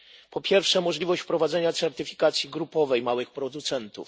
Po pierwsze, możliwość wprowadzenia certyfikacji grupowej małych producentów.